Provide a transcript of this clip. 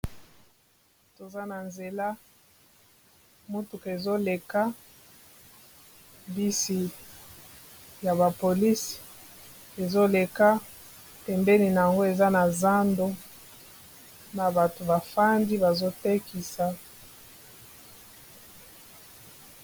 Toza na nzela motuka ezoleka bisi ya ba polisi ezoleka pembeni na yango eza na zando na bato bafandi bazotekisa.